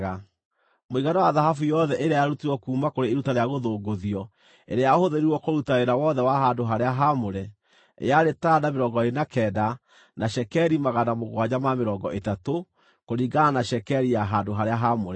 Mũigana wa thahabu yothe ĩrĩa yarutirwo kuuma kũrĩ iruta rĩa gũthũngũthio ĩrĩa yahũthĩrirwo kũruta wĩra wothe wa handũ-harĩa-haamũre, yarĩ taranda 29 na cekeri 730, kũringana na cekeri ya handũ-harĩa-haamũre.